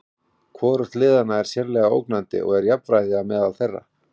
Hvorugt liðanna er sérlega ógnandi og er jafnræði á meðal þeirra.